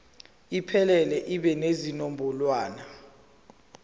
iphelele ibe nezinombolwana